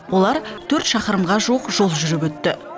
олар төрт шақырымға жуық жол жүріп өтті